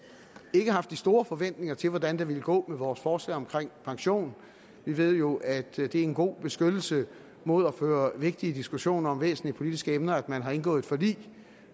ikke haft de store forventninger til hvordan det ville gå med vores forslag om pension vi ved jo at det er en god beskyttelse mod at føre vigtige diskussioner om væsentlige politiske emner at man har indgået et forlig